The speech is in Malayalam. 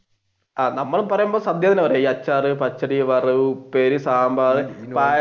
നമ്മൾ പറയുമ്പോൾ സദ്യ എന്നാണ് പറയുക. അച്ചാർ പച്ചടി വറവ് ഉപ്പേരി സാമ്പാർ